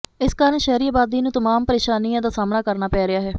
ਇਸ ਕਾਰਨ ਸ਼ਹਿਰੀ ਆਬਾਦੀ ਨੂੰ ਤਮਾਮ ਪਰੇਸ਼ਾਨੀਆਂ ਦਾ ਸਾਹਮਣਾ ਕਰਨਾ ਪੈ ਰਿਹਾ ਹੈ